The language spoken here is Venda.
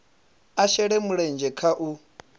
a shele mulenzhe kha u